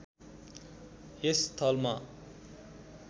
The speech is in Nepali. यस स्थलमा